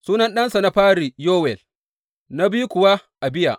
Sunan ɗansa na fari Yowel, na biyu kuwa Abiya.